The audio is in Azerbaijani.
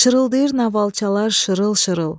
Şırıldayır novalçalar şırıl-şırıl.